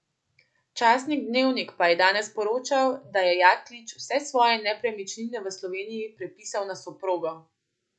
Časnik Dnevnik pa je danes poročal, da je Jaklič vse svoje nepremičnine v Sloveniji prepisal na soprogo.